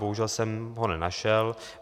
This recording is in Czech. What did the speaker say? Bohužel jsem ho nenašel.